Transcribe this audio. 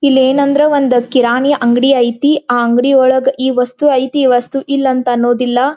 ಇಲ್ಲಿ ಏನ್ ಅಂದ್ರೆ ಒಂದು ಕಿರಾಣಿ ಅಂಗಡಿ ಐತಿ ಆ ಅಂಗಡಿ ಒಳಗ್ ಈ ವಸ್ತು ಐತಿ ಈ ವಸ್ತು ಇಲ್ಲಾ ಅಂತ ಅನ್ನೊದಿಲ್ಲಾ --